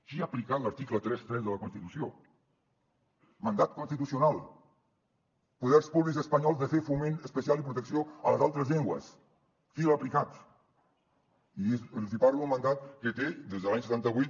qui ha aplicat l’article trenta tres de la constitució mandat constitucional poders públics espanyols de fer foment especial i protecció a les altres llengües qui l’ha aplicat i els hi parlo d’un mandat que té des de l’any setanta vuit